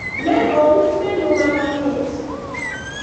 ne ousone nduma mamit